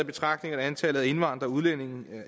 betragtning at antallet af indvandrede udlændinge